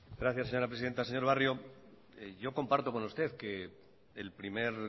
gracias señora presidenta señor barrio yo comparto con usted que el primer